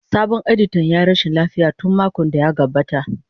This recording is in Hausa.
Sabon editan ya yi rashin lafiya tun makon da ya gabata.